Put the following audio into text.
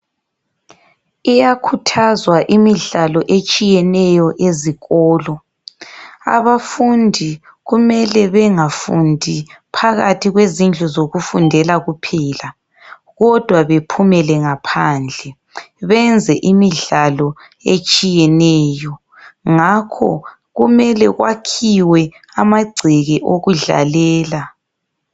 Iyakhuthazwa imidlalo etshiyeneyo ezikolo. Abafundi kumele bengafundi phakathi kwezindlu zokufundela kuphela kodwa bephumele ngaphandle benze imidlalo etshiyeneyo. Ngakho kumele kwakhiwe amagceke wokudlalela.